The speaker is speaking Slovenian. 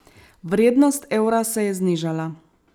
Vrednost evra se je znižala.